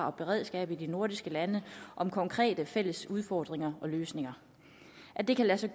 og beredskabet i de nordiske lande om konkrete fælles udfordringer og løsninger at det kan lade